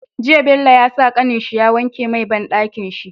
Jiya Bello ya sa kanin shi ya wanke mai banɗakin shi